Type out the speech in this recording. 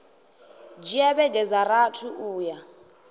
dzhia vhege dza rathi uya